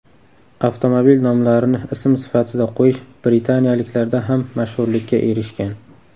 Avtomobil nomlarini ism sifatida qo‘yish britaniyaliklarda ham mashhurlikka erishgan.